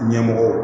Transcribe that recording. Ɲɛmɔgɔ